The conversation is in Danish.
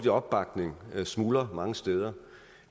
opbakning smuldrer mange steder